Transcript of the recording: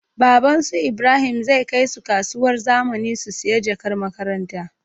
Baban su ibrahim zai kai su kasuwar zamani su siya jakar makaranta